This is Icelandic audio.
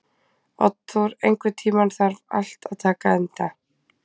Oddþór, einhvern tímann þarf allt að taka enda.